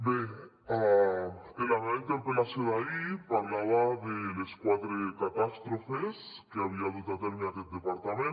bé en la meva interpel·lació d’ahir parlava de les quatre catàstrofes que havia dut a terme aquest departament